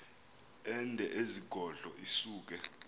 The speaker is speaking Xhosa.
ende ezigodlo isuke